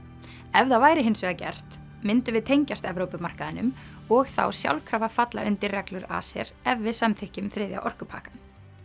ef það væri hins vegar gert myndum við tengjast og þá sjálfkrafa falla undir reglur ACER ef við samþykkjum þriðja orkupakkann